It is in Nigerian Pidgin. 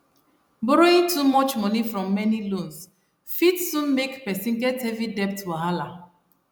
borrowing too much money from many loans fit soon make person get heavy debt wahala